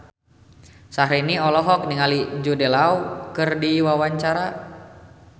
Syahrini olohok ningali Jude Law keur diwawancara